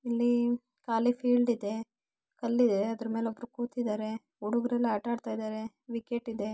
ಇಲ್ಲಿ ಕಾಲಿ ಫೀಲ್ಡ್ ಇದೆ ಅದರ ಮೇಲೆ ಒಬ್ಬ ಕೂತಿದ್ದಾನೆ ಹುಡುಗರೆಲ್ಲ ಆಟ ಆಡ್ತಿದ್ದಾರೆ ವಿಕೆಟ್ ಇದೆ ಬ್ಯಾಟ್ ಇದೆ----